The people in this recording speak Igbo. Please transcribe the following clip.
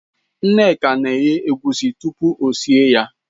Nneka na-eghe egusi tupu o sie ya.